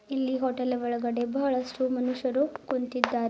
ಇಲ್ಲಿ ಹೋಟೆಲ್ ಒಳಗಡೆ ಬಹಳಷ್ಟು ಮನುಷ್ಯರು ಕುಂತಿದ್ದಾರೆ.